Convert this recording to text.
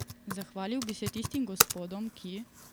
Zahvalil bi se tistim gospodom, ki ...